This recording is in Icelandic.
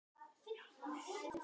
Og er gaman?